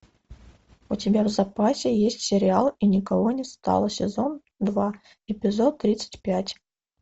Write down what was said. у тебя в запасе есть сериал и никого не стало сезон два эпизод тридцать пять